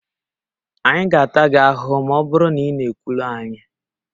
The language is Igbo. Anyị ga-ata gị ahụhụ ma ọ bụrụ na ị na-ekwulu anyị